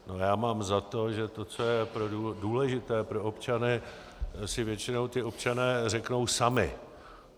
Já mám za to, že to, co je důležité pro občany, si většinou ti občané řeknou sami.